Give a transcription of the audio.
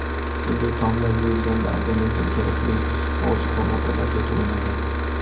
Bunday taomlar yeyilganda organizm kerakli ozuqa moddalariga to‘yinadi.